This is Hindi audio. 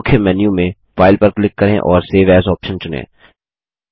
मुख्य मेन्यू में फाइल पर क्लिक करें और सेव एएस आप्शन चुनें